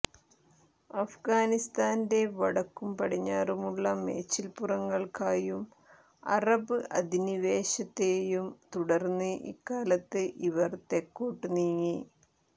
അഫ്ഗാനിസ്താന്റെ വടക്കും പടിഞ്ഞാറുമുള്ള മേച്ചിൽപ്പുറങ്ങൾക്കായും അറബ് അധിനിവേശത്തേയും തുടർന്ന് ഇക്കാലത്ത് ഇവർ തെക്കോട്ട് നീങ്ങി